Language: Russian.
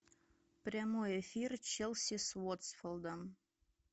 прямой эфир челси с уотфордом